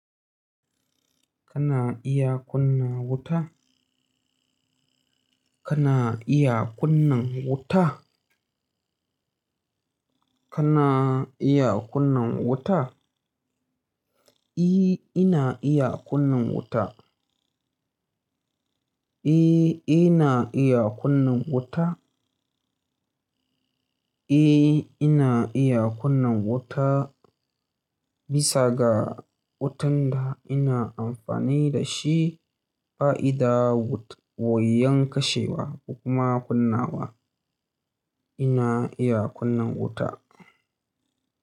Kana iya kunna wuta? Kana iya kunna wuta? Kana iya kunna wuta? Ih, ina iya kunna wuta. Eh, ina iya kunna wuta. Eh, ina iya kunna wuta bisa ga wutan da ina amfani da shi. Bayida, wut- wuyan kashewa ko kuma kunnawa. Ina iya kunna wuta.